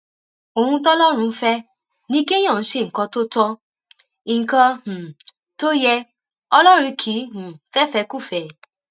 ohun tọlọrun fẹ ni kéèyàn ṣe nǹkan tó tó nǹkan um tó yẹ ọlọrun kì í um fẹfẹkúfẹẹ